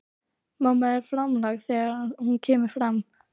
Mamma er framlág þegar hún kemur fram.